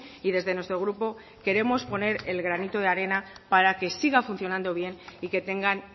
y desde nuestro grupo queremos poner el granito de arena para que siga funcionando bien y que tengan